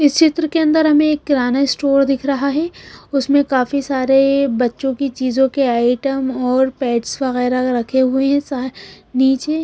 इस चित्र के अंदर हमें एक किराना स्टोर दिख रहा है उसमें काफी सारे बच्चों की चीजों के आइटम और पेट्स वगैरह रखे हुए हैं नीचे।